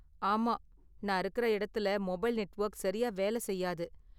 ஆமா, நான் இருக்குற இடத்துல மொபைல் நெட்வொர்க் சரியா வேலை செய்யாது.